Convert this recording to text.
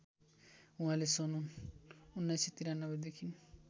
उहाँले सन् १९९३ देखि